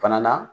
Fana na